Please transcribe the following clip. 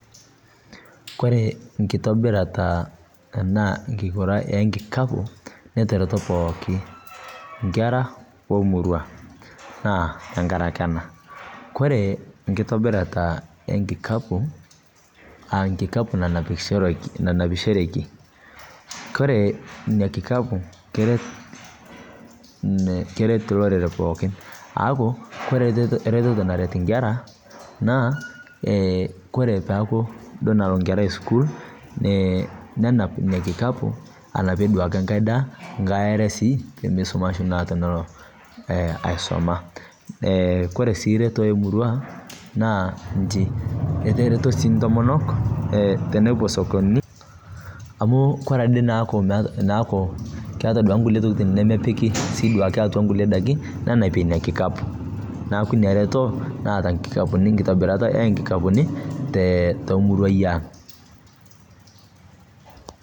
Koree nkitobirata enaa enkigura enkikapu netereto pooki inkera omurua naa tengaraki ana. Kore nkitobirata enkikapu aa enkikapu nanapishoreki. Koree ina nkikapu keret loreren pookin aaku kore ereteto naret nkera naa kore peaku duo nalo nketrai sukuul nenap inia nkikapu anapie duake nkae daa, nkae are sii pemeisumashu naa tenelo aisuma. Kore sii ereto emurrua naa inchi, etereto sii ntomonok tenepo sokonini amu kore ade neaku keeta duake nkulie tokitin nemepiki duake atua nkulie indaki nenapie ina nkikapu, naaku inia ereto naata nkikapuni nkitobirata enkikapuni te muruai aang.